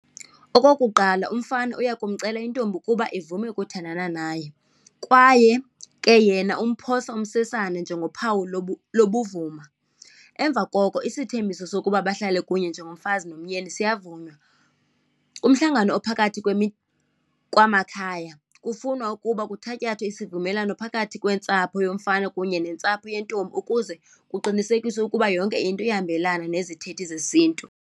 Okokuqala, umfana uya kumcela intombi ukuba ivume ukuthandana naye, kwaye ke yena umphosa umsesane njengophawu lobuvuma. Emva koko isithembiso sokuba bahlale kunye njengomfazi nomyeni siyavunywa. Kumhlangano ophakathi kwamakhaya kufunwa ukuba kuthatyathwe isivumelwano phakathi kwentsapho yomfana kunye nentsapho yentombi ukuze kuqinisekiswe ukuba yonke into iyahambelana nezithethi zesiNtu.